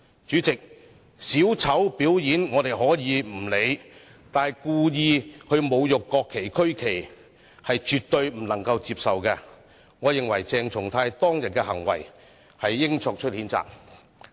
主席，小丑表演，我們可以不理會，但故意侮辱國旗、區旗是絕對不能接受，我認為應對鄭松泰議員當天的行為作出譴責。